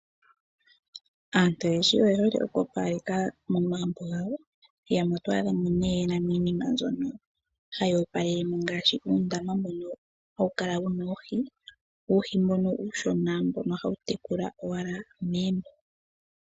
Aantu oyendji oye hole okwoopaleka momagumbo gawo. Yamwe oto adha mo ye na iinima mbyono hayi opalele mo ngaashi uundama mbono hawu kala wu na oohi, uuhi mbono uushona mbono hawu tekula owala meni.